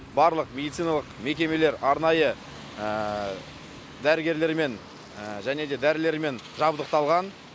барлық медициналық мекемелер арнайы дәрігерлермен және де дәрілермен жабдықталған